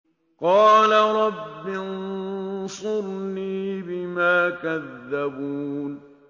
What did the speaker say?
قَالَ رَبِّ انصُرْنِي بِمَا كَذَّبُونِ